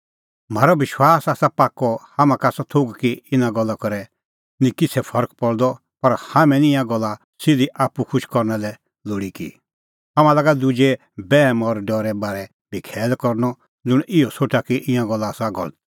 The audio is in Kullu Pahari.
म्हारअ विश्वास आसा पाक्कअ हाम्हां का आसा थोघ कि इना गल्ला करै निं किछ़ै फरक पल़दअ पर हाम्हैं निं ईंयां गल्ला सिधी आप्पू खुश करना लै लोल़ी की हाम्हां लागा दुजे बैहम और डरे बारै बी खैल करनअ ज़ुंण इहअ सोठा कि ईंयां गल्ला आसा गलत